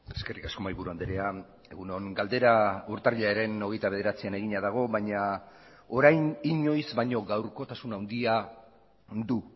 eskerrik asko mahaiburu andrea egun on galdera urtarrilaren hogeita bederatzian egina dago baina orain inoiz baino gaurkotasun handia du